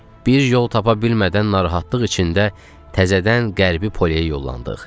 Bir yol tapa bilmədən narahatlıq içində təzədən Qərbi Poliyə yollandıq.